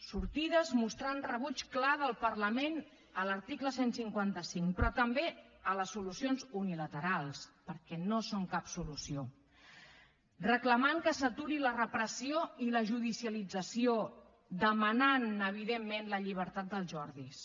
sortides que mostren un rebuig clar del parlament a l’article cent i cinquanta cinc però també a les solucions unilaterals perquè no són cap solució que reclamen que s’aturi la repressió i la judicialització que demanen evidentment la llibertat dels jordis